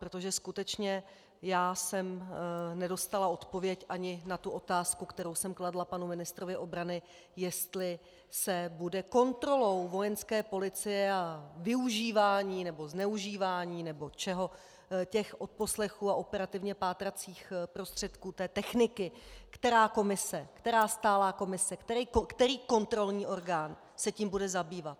Protože skutečně já jsem nedostala odpověď ani na tu otázku, kterou jsem kladla panu ministrovi obrany, jestli se bude kontrolou Vojenské policie a využíváním nebo zneužíváním nebo čeho těch odposlechů a operativně pátracích prostředků, té techniky, která komise, která stálá komise, který kontrolní orgán se tím bude zabývat.